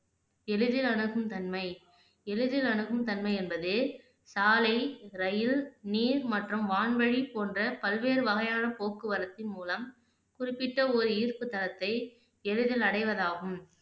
எளிதில் அணுகும் தன்மை எளிதில் அணுகும் தன்மை என்பது சாலை, ரயில், நீர் மற்றும் வான்வெலி போன்ற பல்வேறு வகையான போக்குவரத்தின் மூலம் குறிப்பிட்ட ஒரு ஈர்ப்பு தலத்தை எளிதில் அடைவதாகும்